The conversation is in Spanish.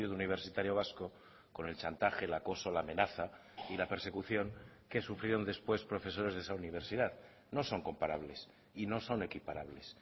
universitario vasco con el chantaje el acoso la amenaza y la persecución que sufrieron después profesores de esa universidad no son comparables y no son equiparables